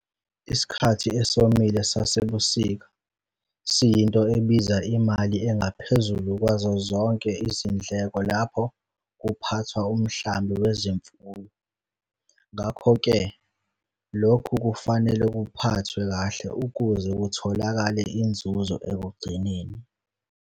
Isikhathi esomile sasebusika siyinto ebiza imali engaphezulu kwazo zonke izindleko lapho kuphathwa umhlambi wezimfuyo, ngakho-ke lokhu kufanele kuphathwe kahle ukuze kutholakale inzuzo ekugcineni.